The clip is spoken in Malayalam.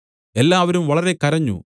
എല്ലാവരും വളരെ കരഞ്ഞു